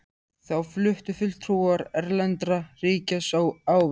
Þá fluttu fulltrúar erlendra ríkja ávörp.